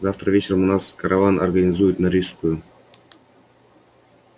завтра вечером у нас караван организуют на рижскую